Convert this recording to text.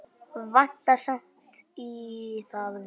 Vantar samt í það vitið.